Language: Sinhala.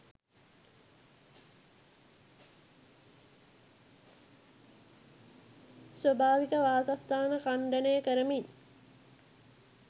ස්වාභාවික වාසස්ථාන ඛණ්ඩනය කරමින්